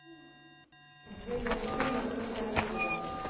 известные фильмы клинта иствуда